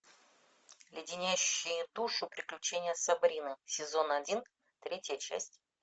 леденящие душу приключения сабрины сезон один третья часть